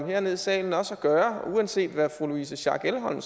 herned i salen og gøre uanset hvad fru louise schack elholm